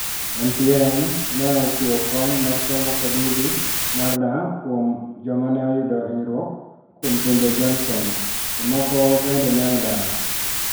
MTM ne ochiwo kony mar somo kod udi mar dak kuom jomane oyuko hinyruok kuom timbe Johnson ,Jomoko benbe ne odar .